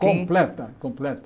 Completa, completa.